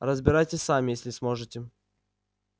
разбирайтесь сами если сможете